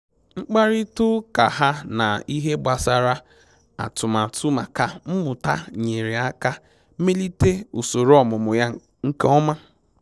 Mkparịta ụka ha na ihe gbasara atụmatụ maka mmụta nyere aka melite usoro ọmụmụ ya nke ọma